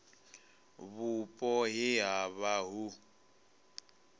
vhupo he ha vha hu